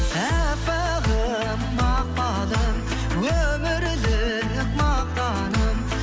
әппағым мақпалым өмірлік мақтаным